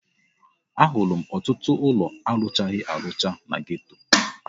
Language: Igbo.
Ahụrụ m ọtụtụ ụlọ arụchaghi arụcha na geto.